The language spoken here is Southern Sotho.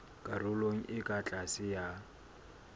karolong e ka tlase ya